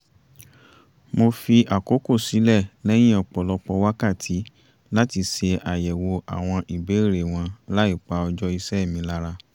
mo fi àkókò sílẹ̀ lẹ́yìn ọ̀pọ̀lọpọ̀ wákàtí láti ṣe àyẹ̀wò àwọn ìbéèrè wọn láì pa ọjọ́ iṣẹ́ mi lára